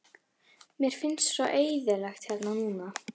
Mér finnst svo eyðilegt hérna núna.